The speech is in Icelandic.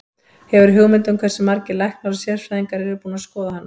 Hefurðu hugmynd um hversu margir læknar og sérfræðingar eru búnir að skoða hana?